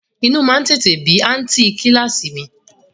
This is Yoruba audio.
Inú má ń tètè bí àǹtí i kíláàsì mi